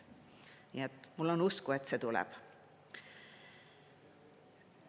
Nii et mul on usku, et see tuleb.